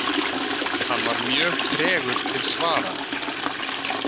Hann var mjög tregur til svara.